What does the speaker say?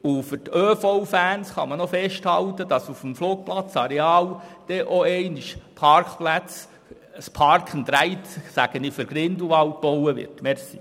Und für die ÖV-Fans kann man noch festhalten, dass auf dem Flugplatzareal dereinst auch ein Park+Ride für Grindelwald – sage ich – gebaut wird.